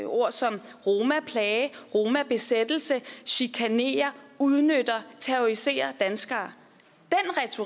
ord som romaplage romabesættelse chikanerer udnytter terroriserer danskere